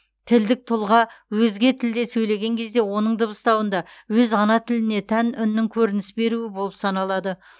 тілдік тұлға өзге тілде сөйлеген кезде оның дыбыстауында өз ана тіліне тән үннің көрініс беруі болып саналады